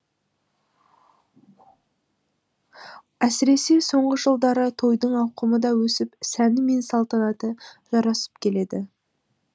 әсіресе соңғы жылдары тойдың ауқымы да өсіп сәні мен салтанаты жарасып келеді